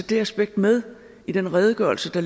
det aspekt med i den redegørelse